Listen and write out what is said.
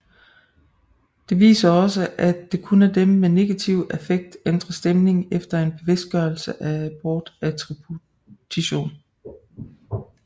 Det viser også er at kun dem med negativ affekt ændrer stemning efter en bevidstgørelse af bortattributionen